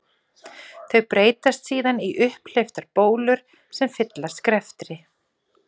Þau breytast síðan í upphleyptar bólur sem fyllast greftri.